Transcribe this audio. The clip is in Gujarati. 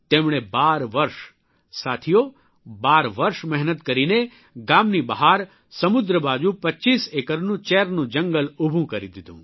તેમણે 12 વર્ષ સાથીઓ 12 વર્ષ મહેનત કરીને ગામની બહાર સમુદ્ર બાજુ 25 એકરનું ચેરનું જંગલ ઉભું કરી દીધું